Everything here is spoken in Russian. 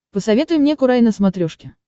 посоветуй мне курай на смотрешке